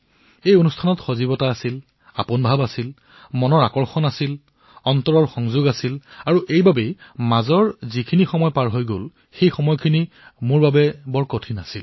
এই কাৰ্যসূচীত প্ৰাণ আছিল আপোনত্ব আছিল মনৰ আপোনত্ব আছিল হৃদয় জড়িত হৈছিল আৰু এইবাবে মাজৰ যি সময়চোৱা গল সেয়া মোৰ বাবে কঠিন সময় আছিল